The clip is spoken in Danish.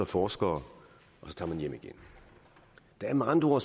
forskere og så tager man hjem igen der er med andre